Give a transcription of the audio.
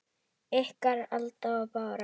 Ykkar, Alda og Bára.